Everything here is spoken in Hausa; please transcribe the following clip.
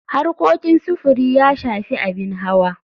Harkokin sufuri ya shafi abin hawa.